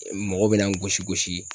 mɔgɔw bɛna n gosi gosi